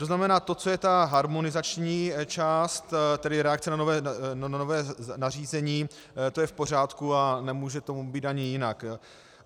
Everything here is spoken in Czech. To znamená to, co je ta harmonizační část, tedy reakce na nové nařízení, to je v pořádku a nemůže tomu být ani jinak.